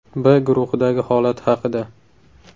B guruhidagi holat haqida.